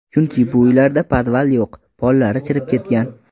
Chunki, bu uylarda podval yo‘q, pollari chirib ketgan.